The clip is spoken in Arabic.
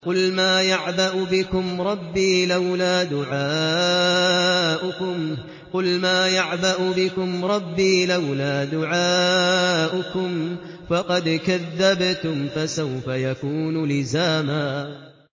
قُلْ مَا يَعْبَأُ بِكُمْ رَبِّي لَوْلَا دُعَاؤُكُمْ ۖ فَقَدْ كَذَّبْتُمْ فَسَوْفَ يَكُونُ لِزَامًا